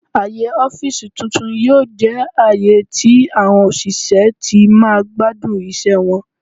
Aaye ọfiisi tun-tun yoo jẹ aaye tí àwọn òṣìṣẹ́ ti máa gbadun iṣẹ wọn.